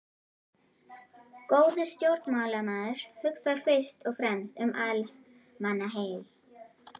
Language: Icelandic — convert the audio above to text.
Góður stjórnmálamaður hugsar fyrst og fremst um almannaheill.